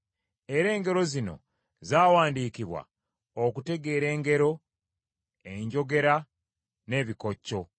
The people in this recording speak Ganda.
Era engero zino zaawandiikibwa okutegeera engero, enjogera n’ebikokyo.